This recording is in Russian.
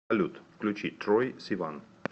салют включи трой сиван